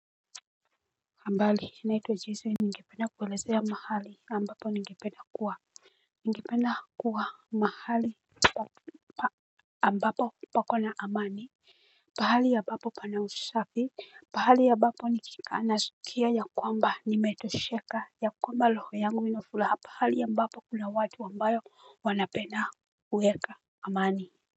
Ambali hina ito jesu ni ingipenda kuwelezea mahali ambapo ningependa kuwa ningependa kuwa mahali ambapo papo na amani. Pahali ya bapo pana usafi, pahali ya bapo ni kika nasukia ya kwamba ni meto sheka ya kwamba loho yangu ino fulaha, pahali ya bapo kuna watu ambayo wanapena uweka amani.